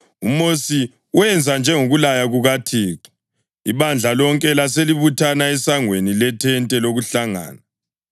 UMosi wenza njengokulaya kukaThixo, ibandla lonke laselibuthana esangweni lethente lokuhlangana.